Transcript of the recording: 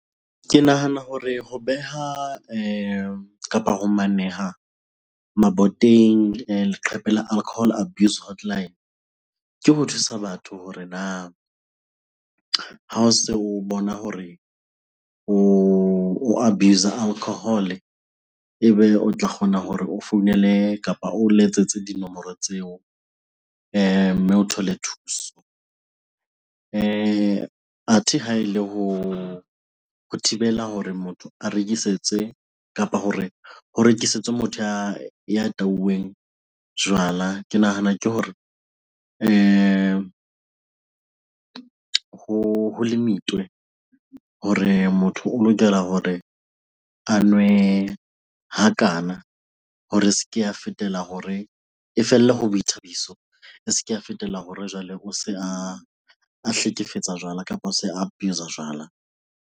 Ke nahana hore ho beha kapa ho maneha maboteng leqhepe la alcohol abuse hotline, ke ho thusa batho hore na ha o se o bona hore o abuse-a alcohol-e ebe o tla kgona hore o founele kapa o letsetse dinomoro tseo mme o thole thuso. Athe ha ele ho thibela hore motho a rekisetse kapa hore ho rekisetswe motho ya tauweng jwala, ke nahana ke hore ho limit-we hore motho o lokela hore a nwe hakana hore a se ke a fetela hore, e felle ho boithabiso. E se ke ya fetela hore jwale o se a hlekefetsa jwala kapa o se abuse-a jwala.